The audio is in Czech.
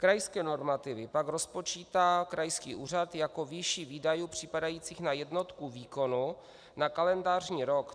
Krajské normativy pak rozpočítá krajský úřad jako výši výdajů připadajících na jednotku výkonu na kalendářní rok.